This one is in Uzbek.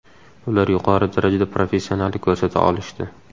Ular yuqori darajada professionallik ko‘rsata olishdi.